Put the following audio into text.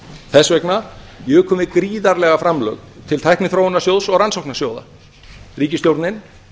þess vegna jukum við gríðarlega framlög til tækniþróunarsjóðs og rannsóknarsjóða ríkisstjórnin